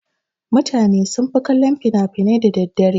Mutane sunfi kallon fina-finai da daddare.